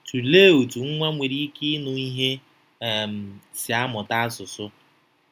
Tụlee otú nwa nwere ike ịnụ ihe um si amụta asụsụ.